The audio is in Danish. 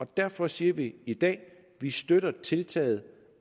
derfor siger vi i dag at vi støtter tiltaget